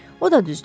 O da düzdür.